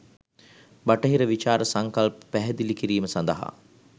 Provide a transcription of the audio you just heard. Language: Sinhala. බටහිර විචාර සංකල්ප පැහැදිලි කිරීම සඳහා